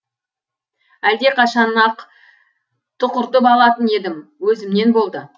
әлдеқашан ақ тұқыртып алатын едім өзімнен болды